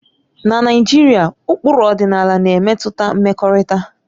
Na Naijiria, ụkpụrụ ọdịnala na-emetụta mmekọrịta